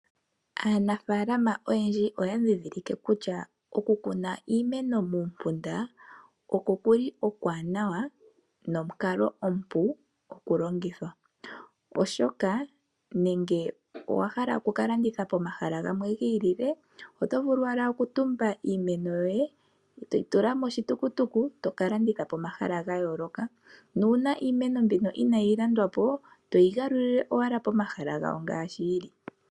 Aanafaalama oyendji oya ndhindhilike kutya oku kuna iimeno muumpunda oko ku li okuwanawa nomukalo omupu okulongithwa. Oshoka nenge owa hala oku ka landitha pomahala gamwe gi ilile, oto vulu wala okutumba iimeno yoye eto yi tula moshitukutuku e to ka landitha pomahala ga yooloka, nuuna iimeno mbino inaayi landwapo to yi galulile owala pomahala gawo ngaashi yi li.